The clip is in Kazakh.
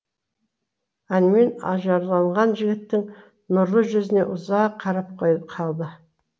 әнмен ажарланған жігіттің нұрлы жүзіне ұзақ қарап қалды